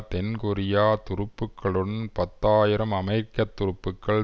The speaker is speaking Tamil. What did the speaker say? தென்கொரியா துருப்புக்களுடன் பத்து ஆயிரம் அமெரிக்க துருப்புக்கள்